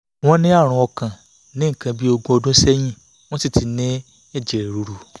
wọ́n ní àrùn ọkàn ní nǹkan bí ogún ọdún sẹ́yìn wọ́n sì ti sì ti ní ẹ̀jẹ̀ ríru